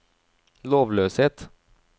lovløshet